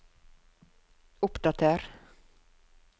oppdater